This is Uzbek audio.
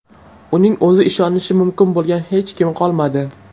Uning o‘zi ishonishi mumkin bo‘lgan hech kimi qolmadi.